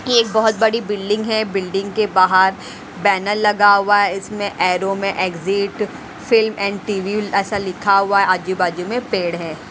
एक बहुत बड़ी बिल्डिंग है बिल्डिंग के बाहर बेनर लगा हुआ है इसमें एरो में एग्जिट फिल्म एंड टीवी ऐसा लिखा हुआ है आजू बाजू में पेड़ है।